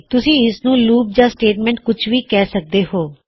ਤੁਸੀ ਇਸਨੂੰ ਲੂਪ ਜਾਂ ਸਟੇਟਮੈਂਟ ਕੁਛ ਵੀ ਕਰ ਸਕਦੇ ਹੋਂ